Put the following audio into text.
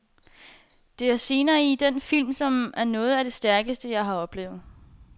Der er scener i den film, som er noget af det stærkeste, jeg har oplevet.